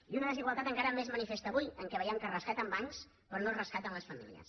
i una desigualtat encara més manifesta avui en què veiem que es rescaten bancs però no es rescaten les famílies